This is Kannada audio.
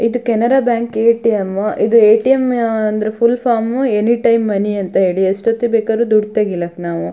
ಇದು ಕೆನರಾ ಬ್ಯಾಂಕ್ ಎ.ಟಿ.ಎಮ್ ಇದ್ರ ಎ.ಟಿ.ಎಮ್ ಅಂದ್ರೆ full form any time money ಅಂತ ಹೇಳಿ ಎಷ್ಟೊತ್ತಿಗೆ ಬೇಕಾರು ದುಡ್ಡು ತಗಲಿಕ್ ನಾವು--